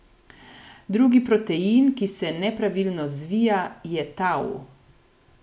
Drugi protein, ki se nepravilno zvija, je tau.